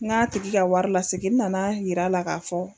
N ŋa tigi ka wari lasegin, n nana yira la ka fɔ.